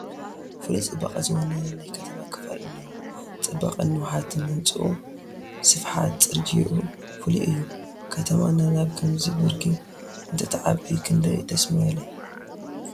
ፍሉይ ፅባቐ ዝወነነ ናይ ከተማ ክፋል እኒሆ፡፡ ፅባቐን ንውሓትን ህንፅኡ፣ ስፍሓት ፅርጊኡ ፍሉይ እዩ፡፡ ከተማና ናብ ከምዚ ብርኪ እንተትዓቢ ክንደይ ደስ ምበለ፡፡